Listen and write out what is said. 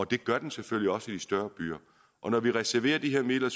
det gør den selvfølgelig også i de større byer og når vi reserverer de her midler